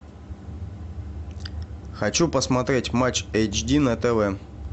хочу посмотреть матч эйч ди на тв